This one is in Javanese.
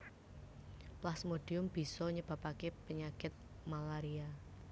Plasmodium bisa nyebabaké penyakit malaria